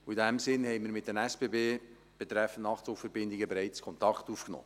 In dem Sinn haben wir bei den SBB betreffend Nachtzugverbindungen bereits Kontakt aufgenommen.